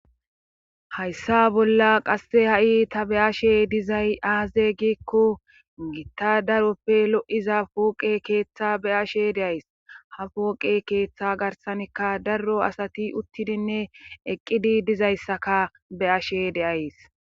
Hayssa bolla qasse ha'i ta be'ashshe dizay aaze giikko gitta daroppe lo'iza pooqe keeththa be'ashshe de'ays ha pooqe keeththa garsanikka daro asati uttidinne eqqidi dizayssaka be'ashshe de'ays